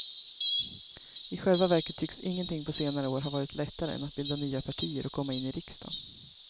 I själva verket tycks ingenting på senare år ha varit lättare än att bilda nya partier och komma in i riksdagen.